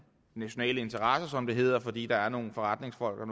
nationale interesser som det hedder fordi der er nogle forretningsfolk og